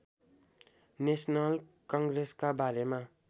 national कङ्ग्रेसका बारेमा